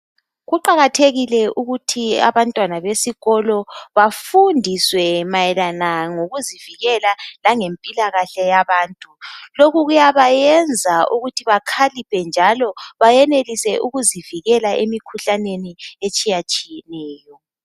Kuqakathekile ukuthi abantwana besikolo bafundiswe mayelana ngokuzivikela langempilakahle yabantu lokhu kuyabayenza ukuthi bskhaliphe njalo bayenelise ukuzivikela emikhuhlaneni etshiya tshiyeneyo.